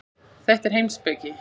Þetta er heimspeki.